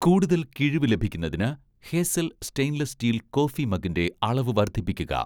കൂടുതൽ കിഴിവ് ലഭിക്കുന്നതിന് 'ഹേസൽ' സ്റ്റെയിൻലെസ്സ് സ്റ്റീൽ കോഫി മഗ്ഗിൻ്റെ അളവ് വർദ്ധിപ്പിക്കുക